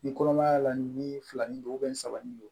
Ni kɔnɔmaya la ni filanin don saba ni don